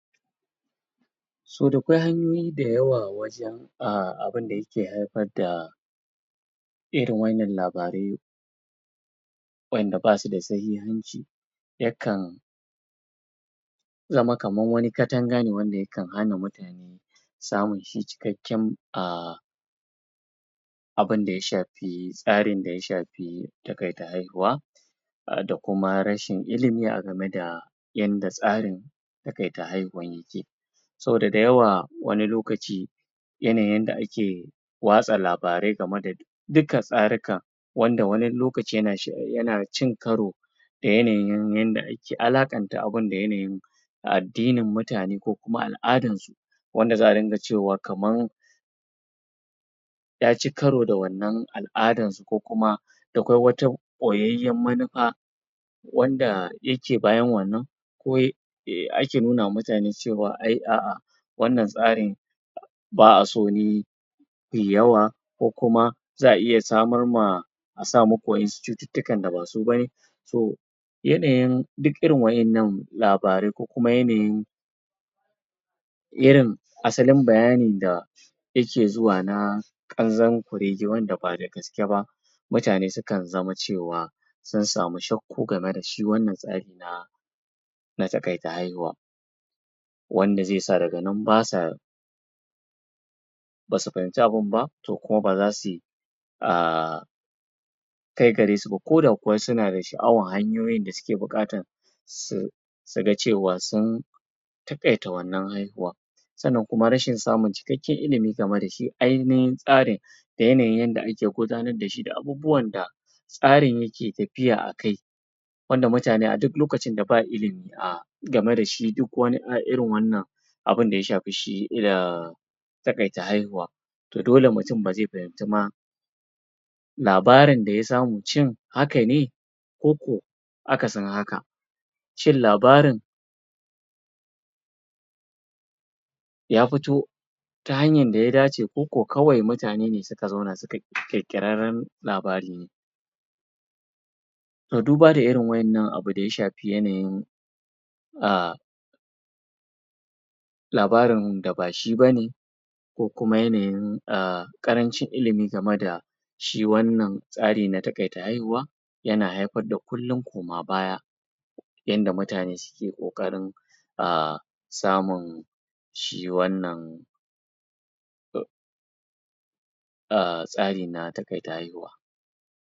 So dakwai hanyoyi da yawa wajan um abida yake haifar da irin wa'innan labarai waƴanda basu da sahihanci, yakan zama kaman wani katanga ne wanda yakan hana mutane samun shi cikakken um abinda ya shafi tsarin da ya shafi taƙaita haihuwa um da kuma rashin ilimi a gameda yanda tsarin taƙaita haihuwan yike. Saboda da yawa wani lokaci yanayin yanda ake watsa labarai game da dukka tsarikan, wanda wani lokaci yana yana cin karo da yanayin yanda ake alaƙanta abun, da yanayin addinin mutane ko kuma al'adan su, da wanda za'a dunga cewa kaman yaci karo da wannan ala'adan su, ko kuma dakwai wata ɓoyayyen manufa wanda yake bayan wannan, ko ake nunu ma mutane cewa ai a'a wannan tsarin ba'a so ne kuyi yawa, ko kuma za'a iya samar ma a sa maku waƴansu cututtukan da ba su ba ne. Toh, yanayin dik irin waƴannan labarai ko kuma yanayin irin asalin bayani da yake zuwa na ƙanzon kurege wanda ba da gaske ba, mutane sukan zama cewa sun samu shakku game da shi wannan tsari na tsagaita haihuwa, wanda zaisa daga nan basa basu fahimci abun ba, toh kuma ba za su yi um kai gare su ba, ko da kuwa suna da sha'awan hanyoyin da suke buƙatan su su ga cewa sun taƙaita wannan haihuwan. Sannan kuma rashin samun cikakken ilimi game da shi ainihin tsarin, da yanayin yanda ake gudanad dashi da abubuwanda tsarin yake tafiya a kai, wanda mutane a duk lokacin da ba ilimi um game da shi, duk wani um irin wannan abinda ya shafi shi um taƙaita haihuwa, toh dole mutum ba zai fahimci ma labarin da ya samu shin haka ne, ko ko akasin haka, shin labarin ya fito ta hanyan da ya dace, ko ko kawai mutane ne suka zauna suka ƙirƙirarren labari ne. Toh, duba da irin waƴannan abu da ya shafi yanayin um labarin da bashi ba ne, ko ku kuma yanyin um ƙarancin ilimi game da shi wannan tsari na taƙaita haihuwa, yana haifar da kullum koma baya yanda mutane suke ƙoƙarin um samun shi wannan um tsari na taƙaiuta haihuwa